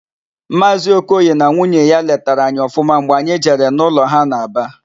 Maazị Okoye na nwunye ya letara anyị ọfụma mgbe anyị jere n'ụlọ ha n'Aba.